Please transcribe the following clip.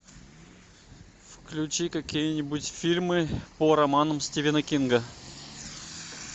включи какие нибудь фильмы по романам стивена кинга